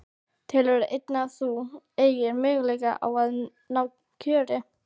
Telurðu enn að þú eigir möguleika á að ná kjöri?